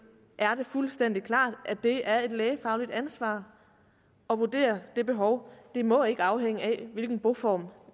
er det fuldstændig klart at det er et lægefagligt ansvar at vurdere det behov det må ikke afhænge af hvilken boform